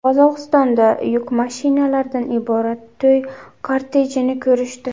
Qozog‘istonda yuk mashinalaridan iborat to‘y kortejini ko‘rishdi .